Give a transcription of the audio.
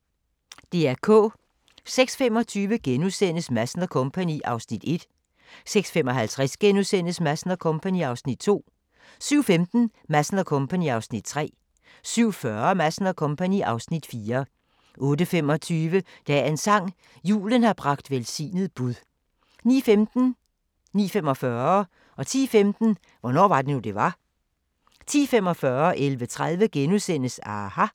06:25: Madsen & Co. (Afs. 1)* 06:55: Madsen & Co. (Afs. 2)* 07:15: Madsen & Co. (Afs. 3) 07:40: Madsen & Co. (Afs. 4) 08:25: Dagens sang: Julen har bragt velsignet bud 09:15: Hvornår var det nu, det var? 09:45: Hvornår var det nu, det var? 10:15: Hvornår var det nu, det var? 10:45: aHA! * 11:30: aHA! *